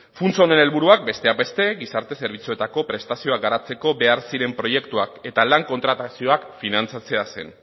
funts honen helburuak besteak beste gizarte zerbitzuetako prestazioak garatzeko behar diren proiektuak eta lan kontratazioak finantzatzea zen